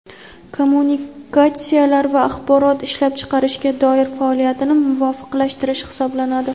kommunikatsiyalar va axborot ishlab chiqarishga doir faoliyatini muvofiqlashtirish hisoblanadi.